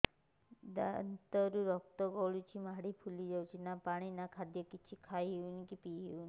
ଦାନ୍ତ ରୁ ରକ୍ତ ଗଳୁଛି ମାଢି ଫୁଲି ଯାଉଛି ନା ପାଣି ନା ଖାଦ୍ୟ କିଛି ଖାଇ ପିଇ ହେଉନି